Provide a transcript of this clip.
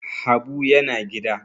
Habu yana gida